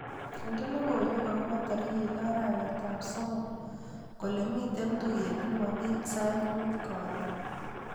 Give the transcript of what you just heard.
Inde logoiwek akobo tarik loo arawetap somok kole miite tuiyet nebo piik sait muut karon.